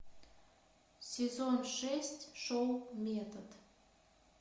сезон шесть шоу метод